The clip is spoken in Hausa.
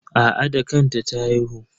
Aa da kanta ta haihu.